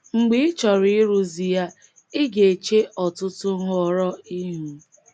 Mgbe ị chọrọ ịrụzi ya, i ga-eche ọtụtụ nhọrọ ihu.